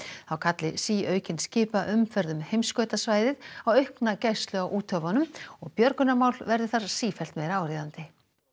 þá kalli síaukin skipaumferð um heimskautasvæðin á aukna gæslu á úthöfunum og björgunarmál verði þar sífellt meira áríðandi